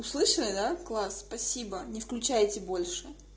услышали да класс спасибо не включайте больше